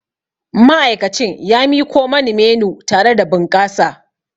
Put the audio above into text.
Ma'aikacin ya miko mani menu tare da bunƙasa